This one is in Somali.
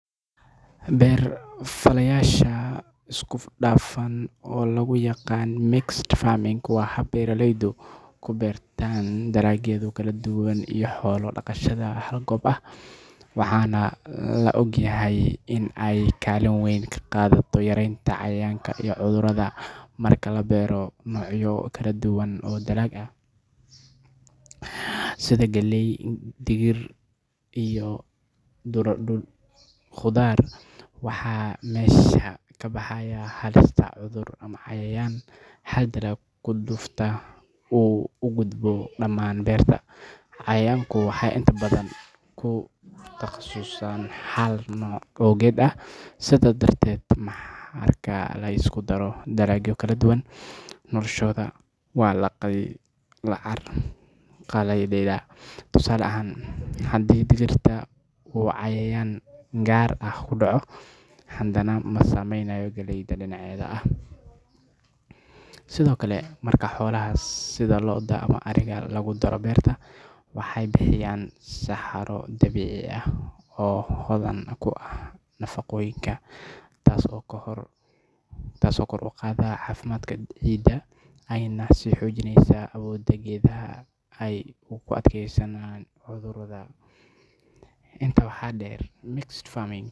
Beer-falashada isku dhafan oo loo yaqaan mixed farming waa hab beeraleydu ku beertaan dalagyada kala duwan iyo xoolo dhaqashada hal goob ah, waxaana la og yahay in ay kaalin weyn ka qaadato yaraynta cayayaanka iyo cudurrada. Marka la beero noocyo kala duwan oo dalag ah sida galley, digir iyo khudaar, waxaa meesha ka baxaya halista cudur ama cayayaan hal dalag ku dhufta uu u gudbo dhammaan beerta. Cayaanku waxay inta badan ku takhasusaan hal nooc oo geed ah, sidaa darteed marka la isku daro dalagyo kala duwan, noloshooda waa la carqaladeeyaa. Tusaale ahaan, hadii digirta uu cayayaan gaar ah ku dhaco, haddana ma saameynayo galleyda dhinaceeda ah. Sidoo kale, marka xoolaha sida lo’da ama ariga lagu daro beerta, waxay bixiyaan saxaro dabiici ah oo hodan ku ah nafaqooyinka, taas oo kor u qaadda caafimaadka ciidda, ayna xoojinayso awoodda geedaha ay ugu adkeysanayaan cudurrada. Intaa waxaa dheer, mixed farming.